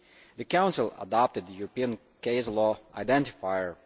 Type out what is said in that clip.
The Council has adopted the European Case Law Identifier.